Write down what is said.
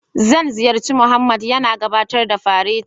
Zan halarci Mohammed yana gabatar da fareti